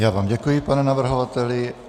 Já vám děkuji, pane navrhovateli.